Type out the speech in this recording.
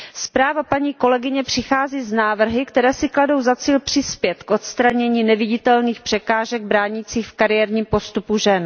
Zpráva paní kolegyně přichází s návrhy, které si kladou za cíl přispět k odstranění neviditelných překážek bránících v kariérním postupu žen.